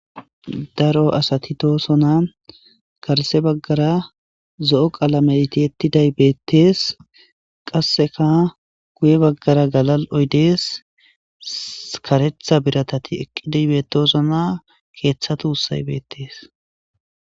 Daro asati bettoosona garse baggara zo7o qalametti yetiday beettees qasseka guye baggara galal7oydees karetha biratati eqqidaybetosona keeththatu hussay beettees.